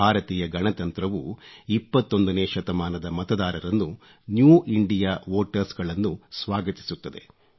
ಭಾರತೀಯ ಗಣತಂತ್ರವು 21ನೇ ಶತಮಾನದ ಮತದಾರರನ್ನು ನ್ಯೂ ಇಂಡಿಯಾ ವೋಟರ್ಸ್ಗಳನ್ನು ಸ್ವಾಗತಿಸ್ಮತ್ತದೆ